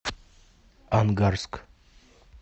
ангарск